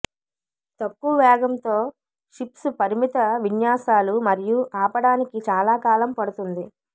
తక్కువ వేగంతో షిప్స్ పరిమిత విన్యాసాలు మరియు ఆపడానికి చాలా కాలం పడుతుంది